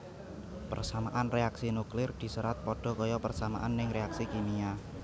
Persamaan reaksi nuklir diserat padha kaya persamaan ning reaksi kimia